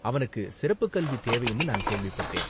அவனுக்கு சிறப்புக் கல்வி தேவைன்னு நான் கேள்விப்பட்டேன்.